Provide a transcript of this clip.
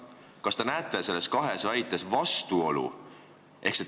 Kas te näete nendes kahes väites vastuolu?